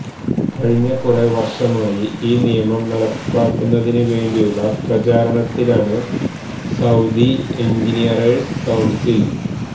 കഴിഞ്ഞ കുറെ വര്ഷമായി ഈ നിയമം നടപ്പാക്കുന്നതിന് വേണ്ടിയുള്ള പ്രചാരണത്തിലാണ് സഊദി എഞ്ചിനിയറേഴ്സ് കൌണ്സില്